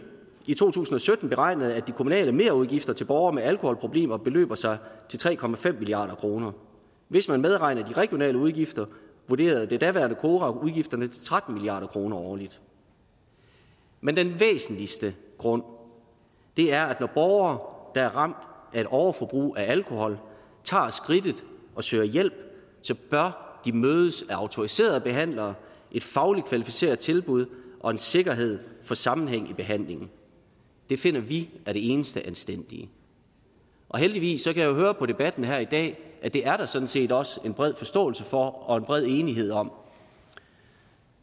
i to tusind og sytten beregnede at de kommunale merudgifter til borgere med alkoholproblemer beløber sig til tre milliard kroner hvis man medregner de regionale udgifter vurderede det daværende kora udgifterne til tretten milliard kroner årligt men den væsentligste grund er at når borgere der er ramt af et overforbrug af alkohol tager skridtet og søger hjælp så bør de mødes af autoriserede behandlere et fagligt kvalificeret tilbud og en sikkerhed for sammenhæng i behandlingen det finder vi er det eneste anstændige heldigvis kan jeg jo høre på debatten her i dag at det er der sådan set også en bred forståelse for og en bred enighed om